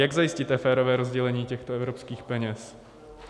Jak zajistíte férové rozdělení těchto evropských peněz?